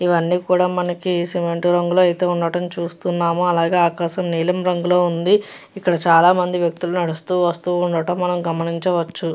ఇవన్నీ కూడా మనకి సిమెంట్ రంగులో ఉన్నట్టు చూస్తున్నాము. ఆకాశం నీలం రంగులో రంగులో ఉంది. ఇక్కడ చాలామంది నడుస్తూ వెళ్తూ ఉండడం మనం గమనించవచ్చు.